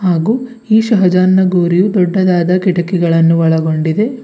ಹಾಗೂ ಈ ಶಹಜಹಾನ್ ಗೋರಿಯೂ ದೊಡ್ಡದಾದ ಕಿಟಕಿಗಳನ್ನು ಒಳಗೊಂಡಿದೆ.